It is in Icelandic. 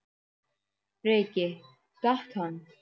Breki: Datt hann?